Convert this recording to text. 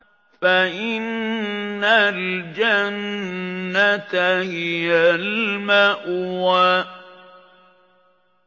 فَإِنَّ الْجَنَّةَ هِيَ الْمَأْوَىٰ